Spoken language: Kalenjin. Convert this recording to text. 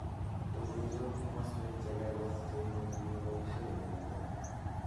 kokechob maswek chelelach cheimuchi keboishe yemakat,